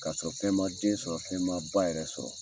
Ka sɔrɔ fɛn ma den sɔrɔ fɛn ma ba yɛrɛ sɔrɔ.